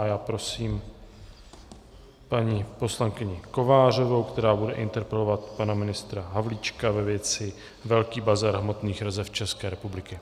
A já prosím paní poslankyni Kovářovou, která bude interpelovat pana ministra Havlíčka ve věci velký bazar hmotných rezerv České republiky.